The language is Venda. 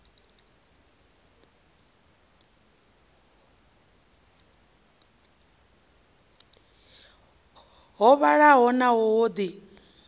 ho vhalaho naho ho ḓi